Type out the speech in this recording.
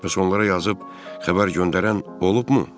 Bəs onlara yazıb xəbər göndərən olubmu?